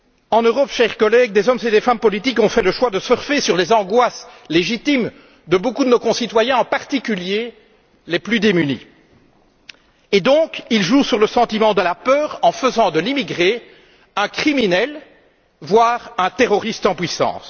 En Europe, chers collègues, des hommes et des femmes politiques ont fait le choix de surfer sur les angoisses légitimes de beaucoup de nos concitoyens, en particulier les plus démunis. Ils jouent donc sur le sentiment de la peur en faisant de l'immigré un criminel, voire un terroriste en puissance.